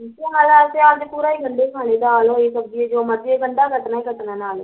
ਸਿਆਲ ਸਿਆਲ ਚ ਪੂਰਾ ਅਸੀਂ ਗੰਡੇ ਈ ਖਾਣੇ ਦਾਲ ਹੋਏ ਸਬਜ਼ੀ ਹੋਏ ਗੰਡਾ ਕੱਟਣਾ ਈ ਕੱਟਣਾ ਨਾਲ਼